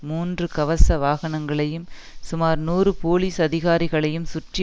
மூன்று கவச வாகனங்களையும் சுமார் நூறு போலீஸ் அதிகாரிகளையும் சுற்றி